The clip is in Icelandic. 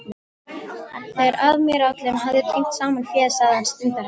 Þegar aðmírállinn hafði tínt saman féð sagði hann stundarhátt